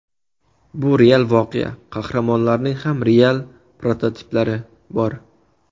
Bu real voqea, qahramonlarning ham real prototiplari bor.